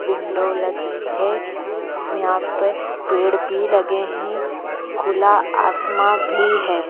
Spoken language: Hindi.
विंडो लगी है यहाँ पे पेड़ भी लगे हैं खुला आसमां भी है।